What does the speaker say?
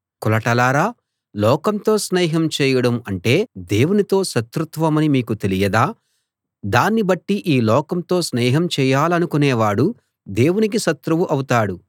కులటలారా లోకంతో స్నేహం చేయడం అంటే దేవునితో శత్రుత్వమని మీకు తెలియదా దాన్ని బట్టి ఈ లోకంతో స్నేహం చేయాలనుకునేవాడు దేవునికి శత్రువు అవుతాడు